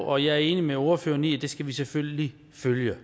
og jeg er enig med ordføreren i at det skal vi selvfølgelig følge